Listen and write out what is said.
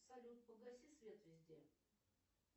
салют погаси свет везде